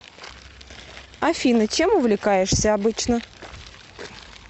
афина чем увлекаешься обычно